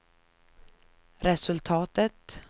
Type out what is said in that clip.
resultatet